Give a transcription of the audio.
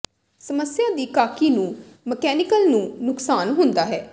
ਸਮੱਸਿਆ ਦੀ ਕਾਕੀ ਨੂੰ ਮਕੈਨੀਕਲ ਨੂੰ ਨੁਕਸਾਨ ਹੁੰਦਾ ਹੈ